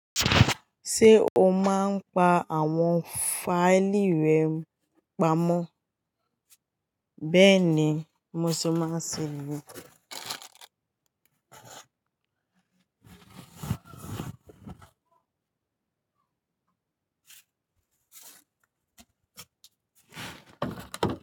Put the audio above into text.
Ṣé o máa ń pa àwọn fáìlì rẹ pamọ́? Bẹ́ẹ̀ ni mo ṣe máa ń ṣe niyen.